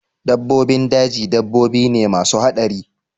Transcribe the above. Dabbobin daji dabbobi ne masu haɗari